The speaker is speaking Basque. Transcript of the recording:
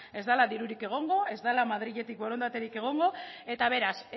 ez dala dirurik egongo ez dela madriletik borondaterik egongo eta beraz